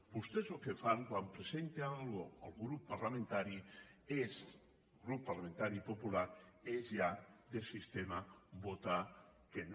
vostès el que fan quan presenta alguna cosa el grup parlamentari popular és ja de sistema votar que no